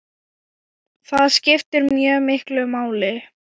Það skiptir mjög miklu máli.